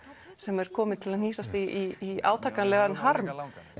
sem er komin til að hnýsast í átakanlegan harm